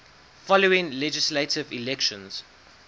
following legislative elections